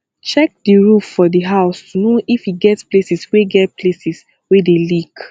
check di roof for di house to know if e get places wey get places wey dey leak